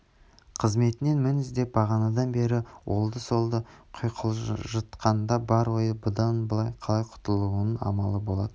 қызметінен мін іздеп бағанадан бері оңды-солды құйқылжытқанда бар ойы бұдан қалай құтылудың амалы болатын